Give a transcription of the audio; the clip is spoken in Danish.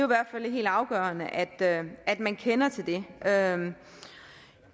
hvert fald helt afgørende at man kender til det den anden